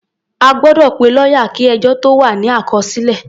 A gbọ́dọ̀ pe lọ́yà kí ẹjọ́ tó wà ní àkọsílẹ̀.